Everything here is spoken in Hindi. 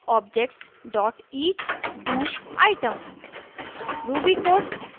a collection of objects dot each do item